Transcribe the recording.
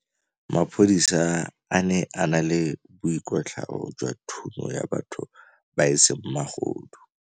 Maphodisa a ne a na le boikwatlhaô jwa thunyô ya batho ba e seng magodu.